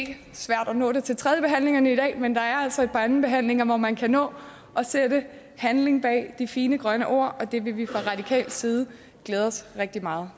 det svært at nå det til tredje behandlingerne i dag men der er altså et par andenbehandlinger hvor man kan nå at sætte handling bag de fine grønne ord og det vil vi fra radikal side glæde os rigtig meget